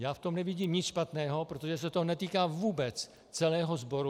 Já v tom nevidím nic špatného, protože se to netýká vůbec celého sboru.